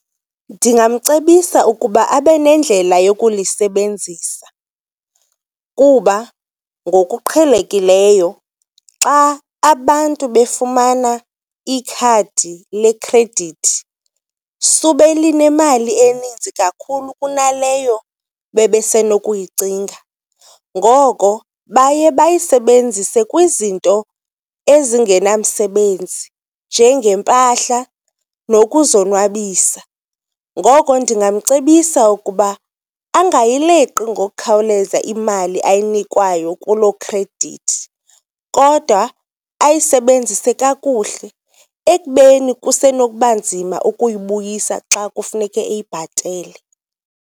Ndingamcebisa ukuba abe nendlela yokulisebenzisa kuba ngokuqhelekileyo xa abantu befumana ikhadi lekhredithi sube linemali eninzi kakhulu kunaleyo bebesenokuyicinga. Ngoko baye bayisebenzise kwizinto ezingenamsebenzi njengeempahla nokuzonwabisa. Ngoko ndingamcebisa ukuba angayileqi ngokukhawuleza imali ayinikwayo kuloo khredithi kodwa ayisebenzise kakuhle ekubeni kusenokuba nzima ukuyibuyisa xa kufuneke eyibhatele.